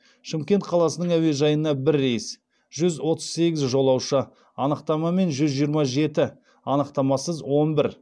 шымкент қаласының әуежайына бір рейс жүз отыз сегіз жолаушы анықтамамен жүз жиырма жеті анықтамасыз он бір